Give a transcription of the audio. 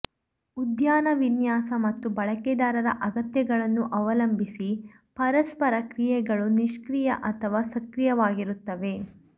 ಉದ್ಯಾನ ವಿನ್ಯಾಸ ಮತ್ತು ಬಳಕೆದಾರರ ಅಗತ್ಯಗಳನ್ನು ಅವಲಂಬಿಸಿ ಪರಸ್ಪರ ಕ್ರಿಯೆಗಳು ನಿಷ್ಕ್ರಿಯ ಅಥವಾ ಸಕ್ರಿಯವಾಗಿರುತ್ತವೆ